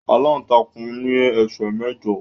Aláǹtakùn ní esè mẹjọ.